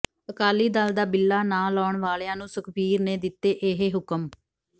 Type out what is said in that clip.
ਅਕਾਲੀ ਦਲ ਦਾ ਬਿੱਲਾ ਨਾ ਲਾਉਣ ਵਾਲਿਆਂ ਨੂੰ ਸੁਖਬੀਰ ਨੇ ਦਿੱਤੇ ਇਹ ਹੁਕਮ